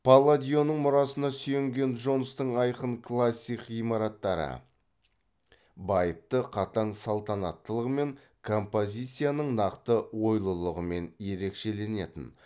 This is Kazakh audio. палладионың мұрасына сүйенген джонстың айқын классик ғимараттары байыпты қатаң салтанаттылығымен композициясының нақты ойлылығымен ерекшеленетін